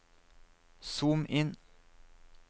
zoom inn